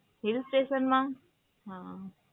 હિલ્સટેશનમાં? હંમ